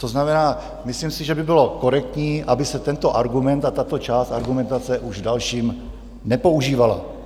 To znamená, myslím si, že by bylo korektní, aby se tento argument a tato část argumentace už v dalším nepoužívala.